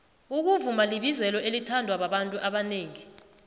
ukuvuma libizelo elithandwababantu abonengi